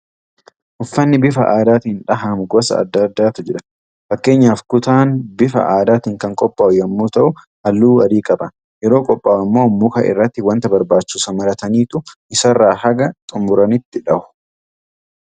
Uffanni bifa aadaatiin dhahamu gosa adda addaatu jira. Fakkeenyaaf kutaan bifa aadaatiin kan qophaa'u yommuu ta'u halluu adii qaba. Yeroo qophaa'u immoo muka irratti wanta barbaachisu marataniitu isarraa haga xumuranitti dha'u.